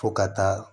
Fo ka taa